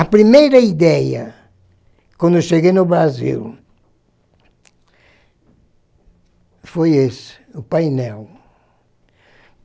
A primeira ideia, quando eu cheguei no Brasil, foi esse, o painel.